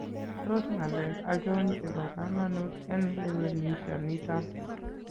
Tos ng'alek achon chebo kamanuut en lewenisho niton?